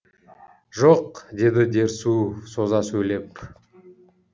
жоқ деді дерсу соза сөйлеп